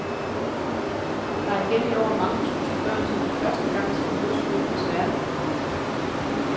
Der er igen i år mange tusind børn, som for første gang skal møde skolens verden.